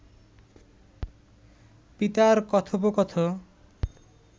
পিতার কথোপকথ